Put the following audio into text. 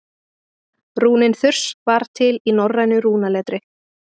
rúnin þurs var til í norrænu rúnaletri